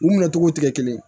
U minɛ cogo tɛ kelen ye